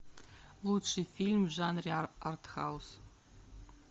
лучший фильм в жанре артхаус